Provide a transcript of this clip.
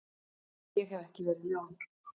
Ég hef ekki verið ljón.